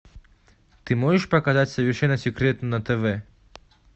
ты можешь показать совершенно секретно на тв